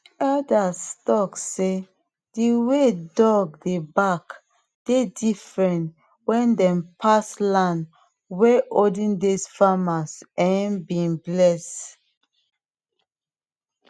elders talk sey dey way dog dey bark dey different wen dem pass land wey olden days farmers um been bless